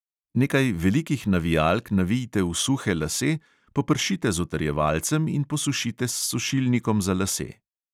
Nekaj velikih navijalk navijte v suhe lase, popršite z utrjevalcem in posušite s sušilnikom za lase.